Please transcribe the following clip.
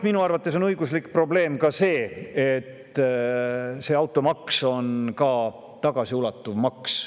Minu arvates on õiguslik probleem ka see, et automaks on tagasiulatuv maks.